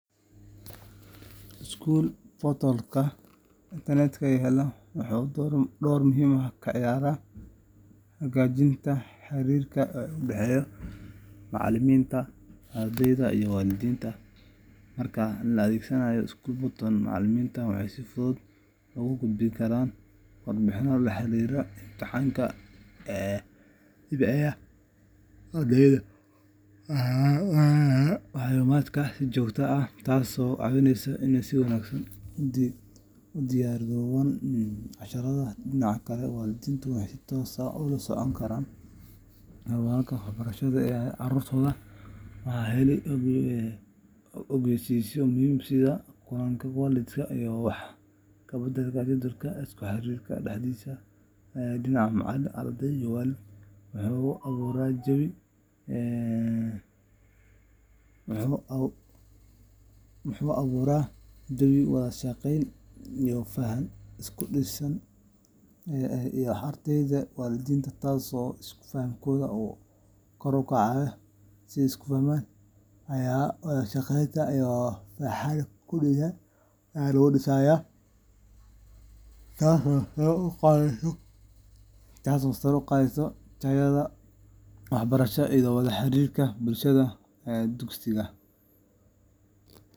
School portals internetka yaalla waxay door muhiim ah ka ciyaaraan hagaajinta xiriirka u dhexeeya macallimiinta, ardayda, iyo waalidiinta. Marka la adeegsado school portal, macallimiintu waxay si fudud ugu gudbin karaan warbixino la xiriira imtixaannada, dhibcaha, shaqooyinka guriga, iyo jadwalka fasalka. Ardaydu waxay marin u helaan macluumaadkan si joogto ah, taasoo ka caawisa inay si wanaagsan ugu diyaar garoobaan casharrada. Dhinaca kale, waalidiintu waxay si toos ah ula socdaan horumarka waxbarasho ee carruurtooda, waxayna helaan ogeysiisyo muhiim ah sida kulamada waalidiinta iyo wax-ka-beddelka jadwalka. Isku xirka saddexdaas dhinac macallin, arday, waalid wuxuu abuuraa jawi wada-shaqayn iyo faham ku dhisan, taasoo sare u qaadda tayada waxbarasho iyo wada xiriirka bulshada dugsiga.